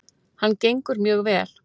. hann gengur mjög vel.